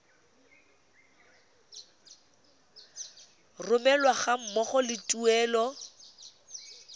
romelwa ga mmogo le tuelo